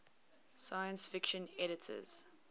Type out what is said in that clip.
science fiction editors